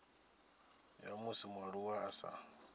ya musi mualuwa a sa